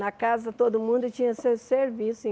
Na casa todo mundo tinha seu serviço.